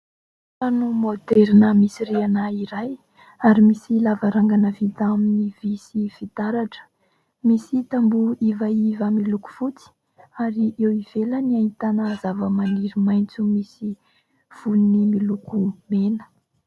Trano moderina misy rihana iray ary misy lavarangana vita amin' ny fitaratra, misy tamboho ivaiva miloko fotsy ary eo ivelany ahitana zava-maniry maintso misy vony miloko mena.